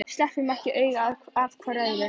Sleppum ekki augum hvor af öðrum.